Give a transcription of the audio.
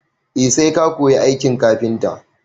E, sai ka koyi aikin kafinta.